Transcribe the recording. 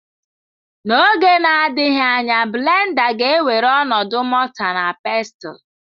N'oge na-adịghị anya blenda ga-ewere ọnọdụ mọta na Pestụl.